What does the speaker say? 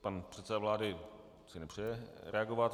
Pan předseda vlády si nepřeje reagovat.